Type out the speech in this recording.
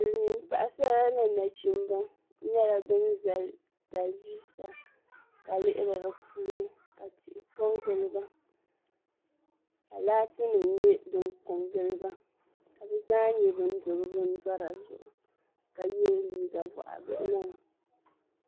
Silimiim paɣisara ni nachimba nyɛla ban zali taliviisa ka lihiri di puuni ka tihi kɔŋgili ba ka laatinima nyɛ din kɔŋgili ba ka bɛ zaa nyɛ ban do bɛ bindɔna zuɣu ka ye liiga bɔɣibihi.